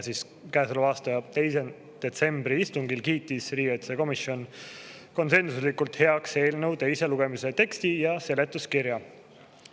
Käesoleva aasta 2. detsembri istungil kiitis riigikaitsekomisjon konsensuslikult heaks eelnõu teise lugemise teksti ja seletuskirja.